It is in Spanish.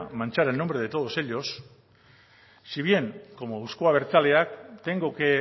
manchar el nombre de todos ellos si bien como euzko abertzaleak tengo que